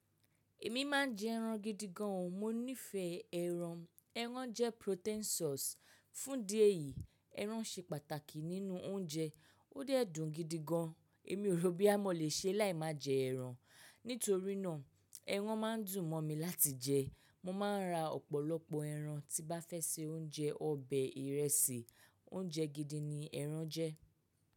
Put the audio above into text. Èmi má ń jẹ ẹran gidi gan. Mo nífẹ̀ẹ́ ẹran. Ẹran jẹ́ protein source. Fún ìdí èyìí, ẹran ṣe pàtàkì nínú oúnjẹ. Ó dẹ̀ dùn gidi gan. Èmi ò sọ bó yá mo lè ṣe láì má jẹ ẹran. Nítorí náà ẹran má ń dùn mọ́ mi láti jẹ. Mo má ń ra ọ̀pọ̀lọpọ̀ ẹran tí bá fẹ́ se oúnjẹ, ọbẹ̀, ìrẹsì. Oúnjẹ gidi ni ẹran jẹ́.